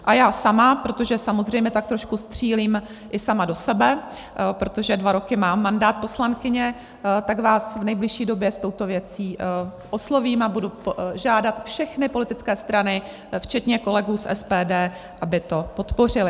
A já sama, protože samozřejmě tak trošku střílím i sama do sebe, protože dva roky mám mandát poslankyně, tak vás v nejbližší době s touto věcí oslovím a budu žádat všechny politické strany včetně kolegů z SPD, aby to podpořili.